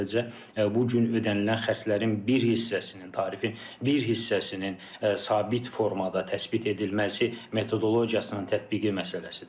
Sadəcə bu gün ödənilən xərclərin bir hissəsinin tarifi, bir hissəsinin sabit formada təsbit edilməsi metodologiyasının tətbiqi məsələsidir.